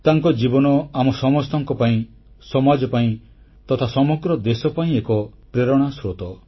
ତାଙ୍କ ଜୀବନ ଆମ ସମସ୍ତଙ୍କ ପାଇଁ ସମାଜ ପାଇଁ ତଥା ସମଗ୍ର ଦେଶ ପାଇଁ ଏକ ପ୍ରେରଣା ସ୍ରୋତ